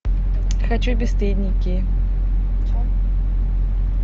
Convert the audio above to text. хочу бесстыдники